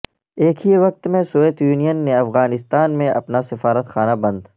ایک ہی وقت میں سوویت یونین نے افغانستان میں اپنا سفارت خانہ بند